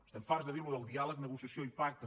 estem farts de dir això del diàleg negociació i pacte